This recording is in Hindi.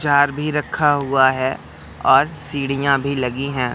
जार भी रखा हुआ है और सीढ़ियां भी लगी है।